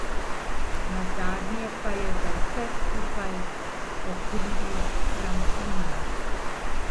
Nazadnje pa je za vse skupaj okrivil Franklina.